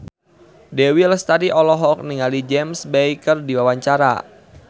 Dewi Lestari olohok ningali James Bay keur diwawancara